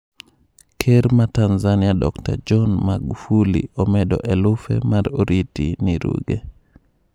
Ker ma Tanzania Dokta John Magufuli omedo elufe mar oriti ni Ruge